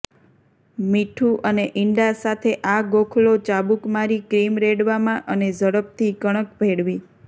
મીઠું અને ઇંડા સાથે આ ગોખલો ચાબૂક મારી ક્રીમ રેડવામાં અને ઝડપથી કણક ભેળવી